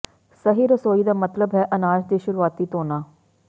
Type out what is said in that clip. ਸਹੀ ਰਸੋਈ ਦਾ ਮਤਲਬ ਹੈ ਅਨਾਜ ਦੀ ਸ਼ੁਰੂਆਤੀ ਧੋਣਾ